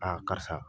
karisa